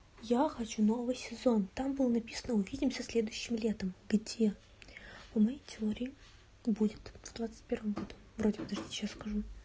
я хочу новый сезон там было написано увидимся следующим летом где по моей теории будет в двадцать первом году вроде подожди сейчас скажу